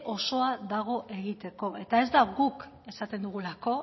osoa dago egiteko eta ez da guk esaten dugulako